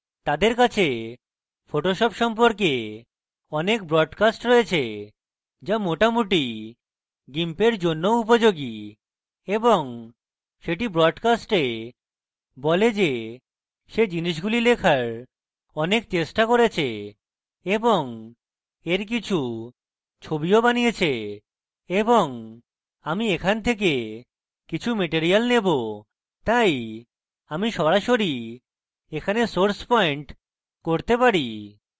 তাদের কাছে photoshop সম্পর্কে অনেক broadcast রয়েছে যা মোটামুটি gimp এর জন্যও উপযোগী এবং সেটি broadcast বলে যে সে জিনিসগুলি লেখার অনেক চেষ্টা করেছে এবং এর কিছু ছবিও বানিয়েছে এবং আমি এখান থেকে কিছু material নেবো তাই আমি সরাসরি এখানে source পয়েন্ট করতে পারি